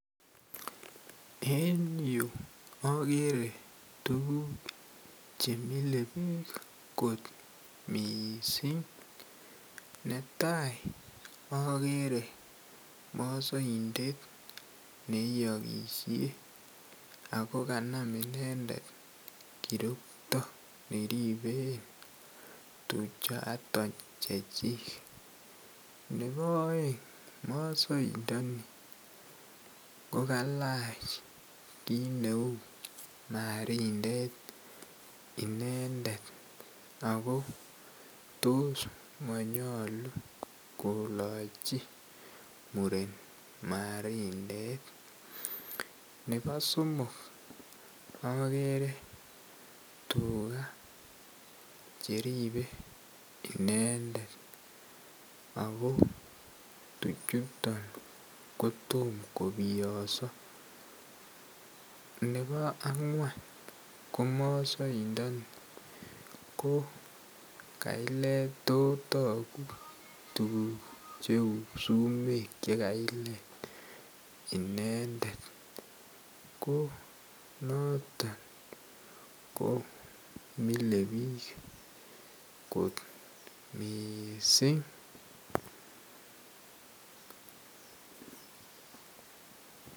En yu akere tuguk chemile biik kot miissing. Netai akere maasaindet neiyokishe ako kanam inendet kirokto neriben tuchaton chechik nebo aeng maasaindoni kokalach kit neu marindet inendet ako tos manyolu koloche muren marindet ne bo somok akere tugaa cheripe inendet ako tuchuton kotom kobiyoso ,ne bo akwan ko maasaindoni kailet totoguk tuguk cheu sumeek chekailet inendet koo notok ko mile biik kot miissing.